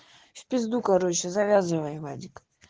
в пизду короче завязывай вадик